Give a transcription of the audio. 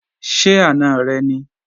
Ṣé àna rẹ ni?